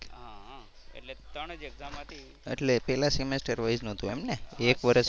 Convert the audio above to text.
એટલે પહેલા semester wise નહોતું એમને એક વર્ષ